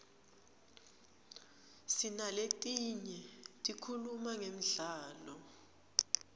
sinaletinye tikhuluma ngemdlalo